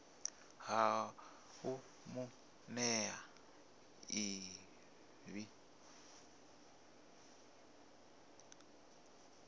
ha u mu nea ḽivi